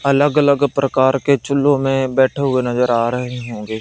अलग अलग प्रकार के चुल्लू में बैठे हुए नजर आ रहे होंगे।